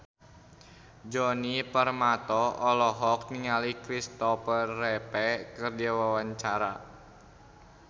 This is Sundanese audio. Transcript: Djoni Permato olohok ningali Kristopher Reeve keur diwawancara